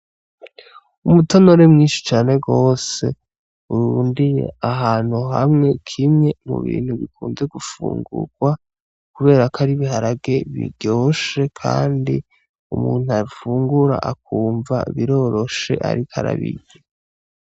Umutonore mwinshi cane gose urundiye ahantu hamwe kimwe mu bintu bikunzwe gufungurwa kubera ko ari ibiharage biryoshe kandi umuntu afungura akumva biroroshe ariko arabirya.